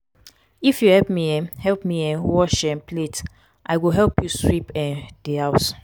if you help me um help me um wash um plate i go help you sweep um di house.